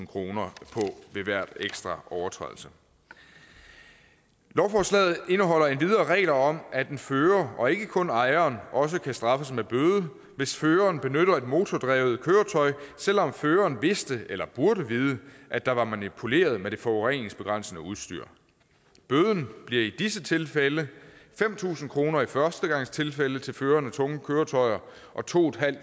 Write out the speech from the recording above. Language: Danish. kroner på ved hver ekstra overtrædelse lovforslaget indeholder endvidere regler om at en fører og ikke kun ejeren også kan straffes med bøde hvis føreren benytter et motordrevet køretøj selv om føreren vidste eller burde vide at der var manipuleret med det forureningsbegrænsende udstyr bøden bliver i disse tilfælde fem tusind kroner i førstegangstilfælde til føreren af tunge køretøjer og to